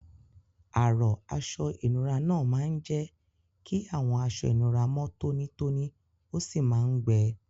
Arọ́ aṣọ ìnura náà máa ń jẹ́ kí àwọn aṣọ ìnura mọ́ tónítóní ó sì máa ń gbẹ.